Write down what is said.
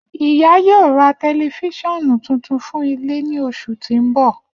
Iya yoo ra tẹlifisiọnu tuntun fun ile ni oṣu ti n bọ.